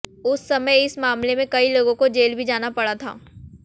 उस समय इस मामले में कई लोगों को जेल भी जाना पड़ा था